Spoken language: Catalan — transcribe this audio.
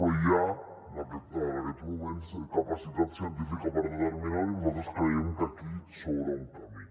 però hi ha en aquests moments capacitat científica per determinar ho i nosaltres creiem que aquí s’obre un camí